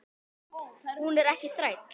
Hún er ekki þræll.